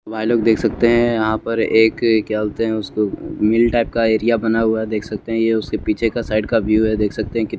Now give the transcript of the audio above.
भाईलोग देख सकते हैं यहां पर एक क्या बोलते हैं उसको मिल टाइप का एरिया बना हुआ देख सकते हैं ये उसके पीछे का साइड का व्यू है देख सकते हैं कि--